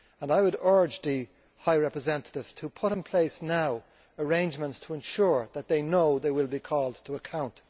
I would urge the High Representative to put in place now arrangements to ensure that they know that they will be called to account.